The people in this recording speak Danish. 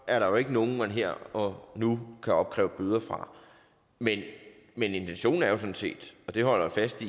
er der ikke nogen man her og nu kan opkræve bøder fra men intentionen er jo sådan set og det holder jeg fast